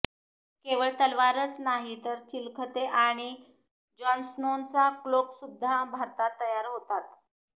केवळ तलवारच नाही तर चिलखते आणि जॉनस्नोचा क्लोकसुद्धा भारतात तयार होतात